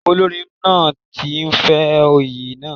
Olórin náà ti ń fẹ́ oyè náà.